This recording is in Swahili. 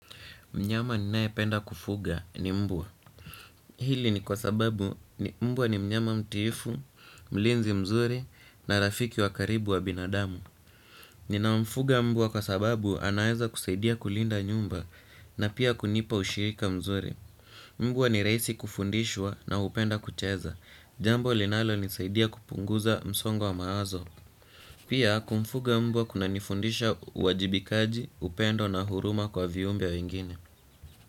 Mnyama ninayependa kufuga ni mbwa. Hili ni kwa sababu ni mbwa ni mnyama mtiifu, mlinzi mzuri na rafiki wa karibu wa binadamu. Nina mfuga mbwa kwa sababu anaweza kusaidia kulinda nyumba na pia kunipa ushirika mzuri. Mbwa ni rahisi kufundishwa na hupenda kucheza. Jambo linalo nisaidia kupunguza msongo wa mawazo. Pia kumfuga mbwa kuna nifundisha wajibikaji, upendo na huruma kwa viumbe wengine.